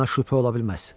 Buna şübhə ola bilməz.